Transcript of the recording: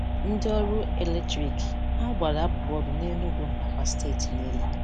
Ndị ọrụ eletriki: Ha gbara abụbụ ọrụ nEnugu nakwa steeti niile.